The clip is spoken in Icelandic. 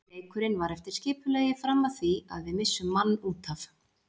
Leikurinn var eftir skipulagi fram að því að við missum mann útaf.